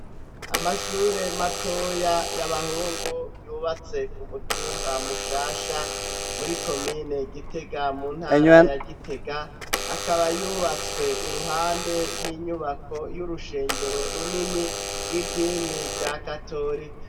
Amashure matoya, y'abahungu, yubatse ku mutumba Mushasha, muri komine Gitega, mu ntara ya Gitega, akaba yubatswe iruhande y'inyubako, y'urushengero runini, rw'idini rya katorika.